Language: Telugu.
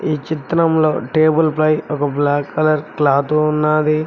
ఈ చిత్రంలో టేబుల్ పై ఒక బ్లాక్ కలర్ క్లాత్ ఉన్నది.